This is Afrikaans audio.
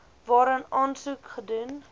waarin aansoek gedoen